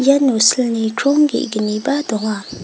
iano silni krong ge·gniba donga.